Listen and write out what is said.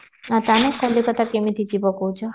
ତମେ କଲିକତା କେମିତି ଯିବ କହୁଚ